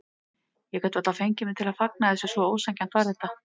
Ég gat varla fengið mig til að fagna þessu, svo ósanngjarnt var þetta.